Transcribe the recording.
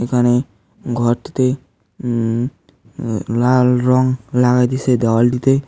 এখানে ঘরটিতে উম লাল রং লাগাই দিসে দেওয়ালটিতে।